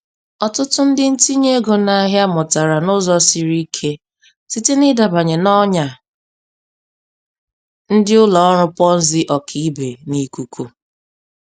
Ọtụtụ ndị ntinye ego n'ahịa mụtara n'ụzọ siri ike site n'ịdabanye n'ọnya ndị ụlọ ọrụ Ponzi ọkaibe n'ikuku.